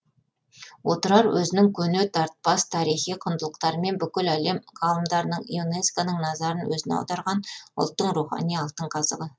отырар өзінің көне тартпас тарихи құндылықтарымен бүкіл әлем ғалымдарының юнеско ның назарын өзіне аударған ұлттың рухани алтын қазығы